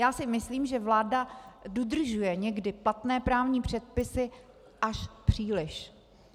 Já si myslím, že vláda dodržuje někdy platné právní předpisy až příliš.